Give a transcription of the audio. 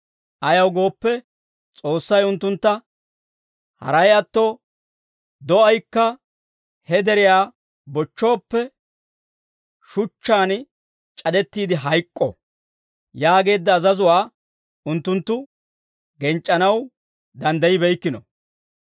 Ayaw gooppe, S'oossay unttuntta, «Haray atto, do'aykka he deriyaa bochchooppe, shuchchaan c'adettiide hayk'k'o» yaageedda azazuwaa unttunttu genc'c'anaw danddayibeykkino.